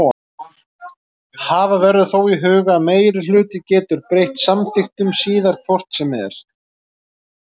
Hafa verður þó í huga að meirihluti getur breytt samþykktum síðar hvort sem er.